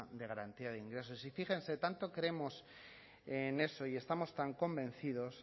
de garantía de ingresos y fíjense tanto creemos en eso y estamos tan convencidos